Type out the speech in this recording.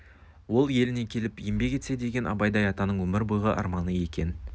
ол еліне келіп еңбек етсе деген абайдай атаның өмір бойғы арманы екен